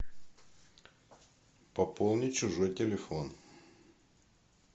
пополнить чужой телефон